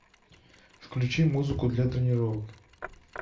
включи музыку для тренировок